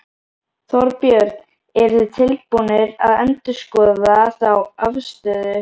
Þorbjörn: Eruð þið tilbúnir að endurskoða þá afstöðu?